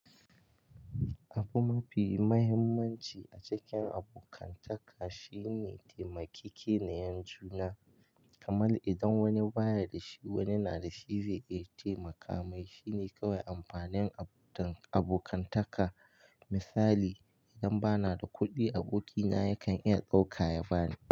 Abu mafi muhimmanci a cikin abokantaka shine taimakeke niyar juna. Kamar idan wani baya da shi, wani na da shi zai iya taimaka mai. Shine kawai amfanin abokantaka. Misali idan bana da kuɗi, abokina yakan iya dauka ya bani.